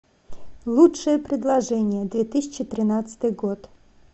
лучшее предложение две тысячи тринадцатый год